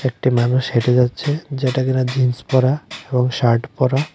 একটি মানুষ হেঁটে যাচ্ছে যেটা কিনা জিন্স পরা এবং শার্ট পরা।